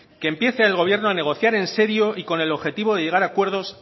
que empiece el gobierno a negociar en serio y con el objetivo de llegar a acuerdos